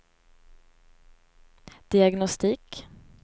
diagnostik